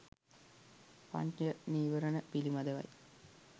පංච නීවරණ පිළිබඳවයි